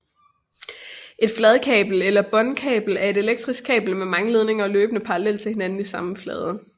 Et fladkabel eller båndkabel er et elektrisk kabel med mange ledninger løbende parallelt til hinanden i samme flade